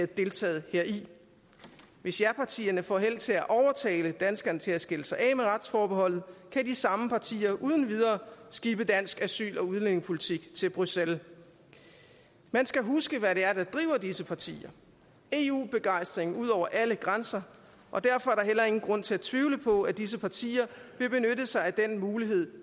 deltage heri hvis japartierne får held til at overtale danskerne til at skille sig af med retsforbeholdet kan de samme partier uden videre skibe dansk asyl og udlændingepolitik til bruxelles man skal huske hvad der driver disse partier eu begejstring ud over alle grænser og derfor er der heller ingen grund til at tvivle på at disse partier vil benytte sig af den mulighed